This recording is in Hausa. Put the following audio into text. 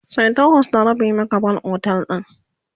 sai takwas da rabi muka bar otel din